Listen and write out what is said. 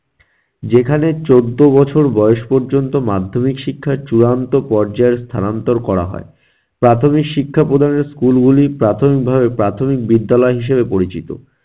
যেখানে চৌদ্দ বছর বয়স পর্যন্ত মাধ্যমিক শিক্ষা চূড়ান্ত পর্যায়ের স্থানান্তর করা হয়। প্রাথমিক শিক্ষা প্রদানের school গুলি প্রাথমিকভাবে প্রাথমিক বিদ্যালয় হিসেবে পরিচিত।